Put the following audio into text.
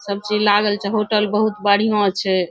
सब चीज लागल छै होटल बहुत बढ़िया छै।